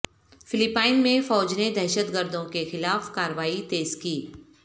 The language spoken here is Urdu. فلپائن میں فوج نے دہشت گردوں کے خلاف کارروائی تیز کی